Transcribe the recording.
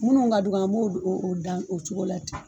MUnnu ka dɔgɔ, an b'o dan o don o cogo la ten.